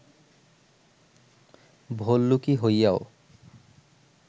ভল্লুকী হইয়াও